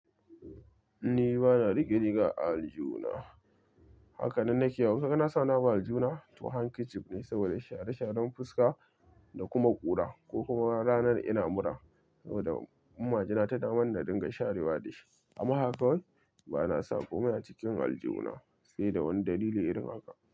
Ni bana riƙe-riga aljuna, haka nan nake yawo ina sawani-abu aljuna to hankici ne saboda share sharan fuska da kuma ƙura ko kuma ranar ina mura saboda majina ta damanni da dinga sharewa da shi. Amma haka wai bana ko mai a cikin aljuna, sai da wani dalili in riga ka.